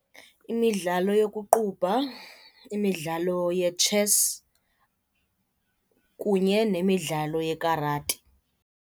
Imidlalo yokuqubha, imidlalo ye-chess kunye nemidlalo ye-karate.